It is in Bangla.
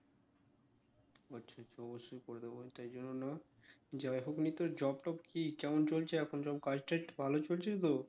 অবশ্যই করে দেবো, তাই জন্য না যাইহোক নিয়ে তোর job টব কি কেমন চলছে এখন সব কাজ টাজ ভালো চলছে তো?